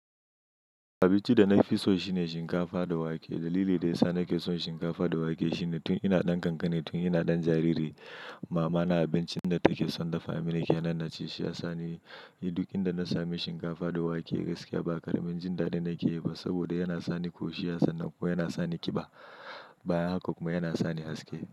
Abinci da na fi so shine shinkafa da wake. Dalilin da ya sa na ke son shinkafa da wake shine tun ina ɗan kankani, tun ina ɗan jariri, mama na abincin da take son dafa mini ke nan na ci, shi ya sa ni ni duk inda na sami shinkafa da wake gaskiya ba ƙaramin jinda da na ke yi ba saboda yana sa ni ƙoshi, yana sa ni ƙiba, bayan haka kuma yana sa ni haske.